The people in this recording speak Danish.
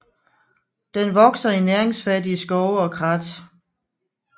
Den vokser i næringsfattige skove og krat